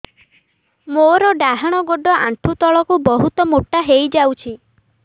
ମୋର ଡାହାଣ ଗୋଡ଼ ଆଣ୍ଠୁ ତଳକୁ ବହୁତ ମୋଟା ହେଇଯାଉଛି